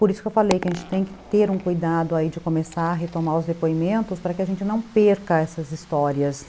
Por isso que eu falei que a gente tem que ter um cuidado ai de começar a retomar os depoimentos para que a gente não perca essas histórias.